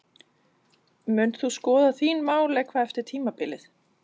Munt þú skoða þín mál eitthvað eftir tímabilið?